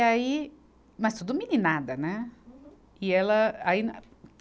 Aí, mas tudo meninada, né? Uhum. E ela, aí